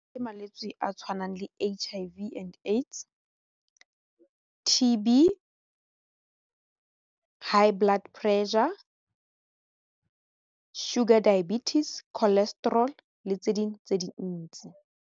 Ke malwetse a tshwanang le H_I_V and AIDS, T_B, high blood pressure, sugar diabetes, cholesterol le tse dingwe tse dintsi.